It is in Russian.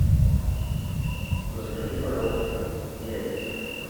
закажи пожалуйста яйца